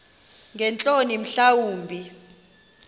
ngeentloni mhla wumbi